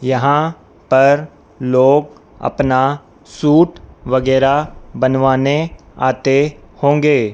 यहां पर लोग अपना सूट वगैरा बनवाने आते होंगे--